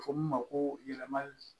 A bɛ fɔ min ma ko yɛlɛmali